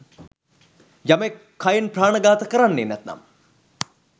යමෙක් කයෙන් ප්‍රාණඝාත කරන්නෙ නැත්නම්